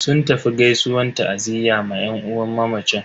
Sun tafi gaisuwan ta'aziyya ma yan uwan mamacin.